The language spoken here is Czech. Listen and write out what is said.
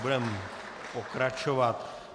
Budeme pokračovat.